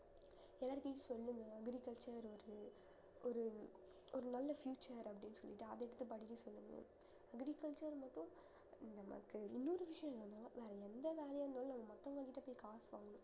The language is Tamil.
எல்லார்ட்டயும் சொல்லுங்க agriculture ஒரு ஒரு ஒரு நல்ல future அப்படின்னு சொல்லிட்டு அத எடுத்து படிக்க சொல்லுங்க agriculture மட்டும் நமக்கு இன்னொரு விஷயம் என்னன்னா வேற எந்த வேலையா இருந்தாலும் நாம மத்தவங்க கிட்ட போய் காசு வாங்கணும்